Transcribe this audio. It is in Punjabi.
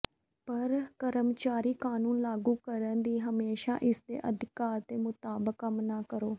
ਪਰ ਕਰਮਚਾਰੀ ਕਾਨੂੰਨ ਲਾਗੂ ਕਰਨ ਦੀ ਹਮੇਸ਼ਾ ਇਸ ਦੇ ਅਧਿਕਾਰ ਦੇ ਮੁਤਾਬਕ ਕੰਮ ਨਾ ਕਰੋ